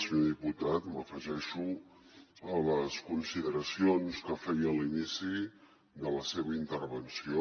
senyor diputat m’afegeixo a les consideracions que feia a l’inici de la seva intervenció